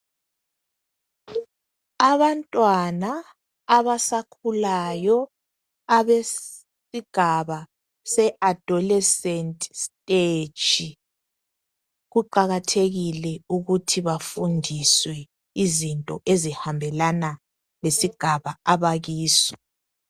Abantwana abasakhulayo abesigaba seadolesenti siteji kuqakathekile ukuthi bafundiswe izinto ezihambelana lesigaba abakiso.